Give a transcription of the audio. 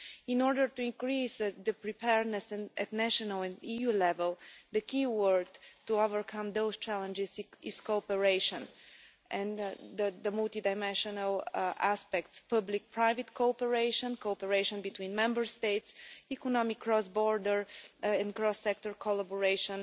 In order to increase the preparedness at national and EU level, the key word to overcome those challenges is cooperation and the multidimensional aspects public private cooperation, cooperation between Member States, economic cross border and cross sector collaboration,